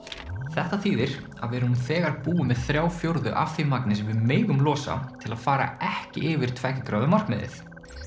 þetta þýðir að við erum nú þegar búin með þrjá fjórðu af því magni sem við megum losa til að fara ekki yfir tveggja gráðu markmiðið